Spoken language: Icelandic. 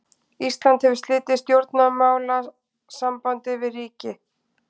Ísland hefur slitið stjórnmálasambandi við ríki.